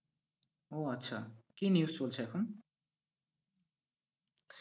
ও আচ্ছা, কি news চলছে এখন?